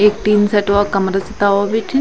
एक टीन सेट वालो कमरा च तौल बिठी।